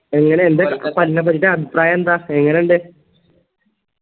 എങ്ങനെ എന്താ ക കന്നെക്കുറിച്ച് അഭിപ്രായെന്താ എങ്ങനിണ്ട്